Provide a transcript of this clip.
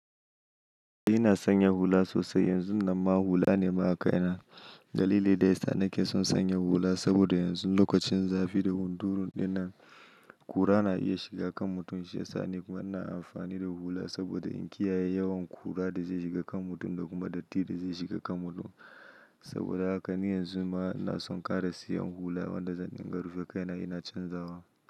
Ni ina sanya hula sosai yanzu nan ma hula ne ma a kai na. Dalili daya sa nake son sanya hula saboda yanzu lokacin zafi da hunturun ne nan, kura na iya shiga kan mutum shi ya sa ne kuma ana amfani da hula saboda in kiyaye yawan kura da zai shiga kan mutum da kuma datti da zai shiga kan mutum. Saboda haka ni yanzu ma na son ƙara siyan hula wanda zan dinga rufe kai na ina canza wa.